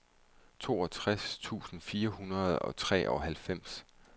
toogtres tusind fire hundrede og treoghalvfems